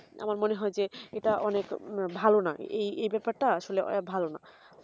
আমার মনে হয় যে এটা অনেক ভালো না এই ব্যাপার টা আসলে ভালো না